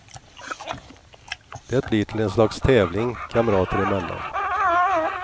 Det blir till en slags tävling, kamrater emellan.